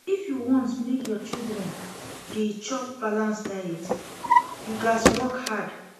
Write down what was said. If you wan make your children dey chop balanced diet, you gats work hard.